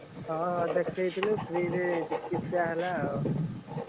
ହଁ ହଁ, ଦେଖେଇଥିଲି free ରେ ଚିକିସା ହେଲା ଆଉ ।